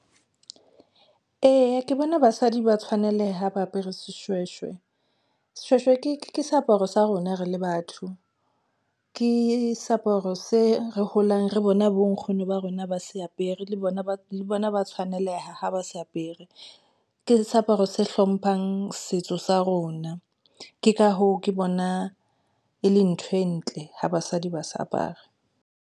Eya, ke bona basadi ba tshwaneleha ha ba apere seshweshwe, seshweshwe ke seaparo sa rona re le batho ke seaparo se re holang re bona bo nkgono ba rona, ba ha se apere le bona, ba le bona, ba tshwaneleha ha ba se apere ke seaparo se hlomphang setso sa rona. Ke ka hoo, ke bona e le ntho e ntle hoy basadi ba sa apare.